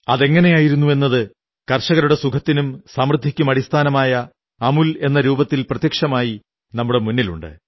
അതെങ്ങനെയായിരുന്നു എന്നത് കർഷകരുടെ സുഖത്തിനും സമൃദ്ധിക്കുമടിസ്ഥാനമായ അമൂൽ എന്ന രൂപത്തിൽ പ്രത്യക്ഷമായി നമ്മുടെ മുന്നിലുണ്ട്